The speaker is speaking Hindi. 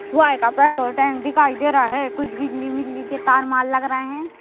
सुवाई का पेट्रोल टैंक दिखाई दे रहा है कुछ के तारमाल लग रहे हैं।